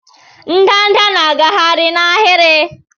ndanda na-agagharị n'ahịrị.